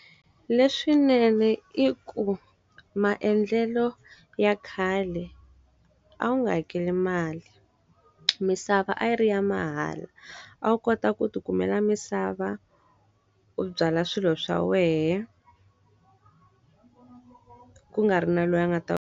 Leswinene i ku maendlelo ya khale, a wu nga hakeli mali. Misava a yi ri ya mahala. A wu kota ku ti kumeka misava, u byala swilo swa wena ku nga ri na loyi a nga ta.